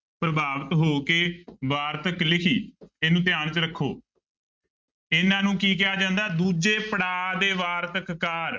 ਪ੍ਰਭਾਵਿਤ ਹੋ ਕੇ ਵਾਰਤਕ ਲਿਖੀ ਇਹਨੂੰ ਧਿਆਨ ਚ ਰੱਖੋ ਇਹਨਾਂ ਨੂੰ ਕੀ ਕਿਹਾ ਜਾਂਦਾ, ਦੂਜੇ ਪੜ੍ਹਾਅ ਦੇ ਵਾਰਤਕਾਰ